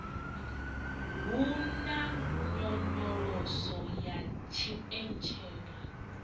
hu na nyonyoloso ya tshipentshala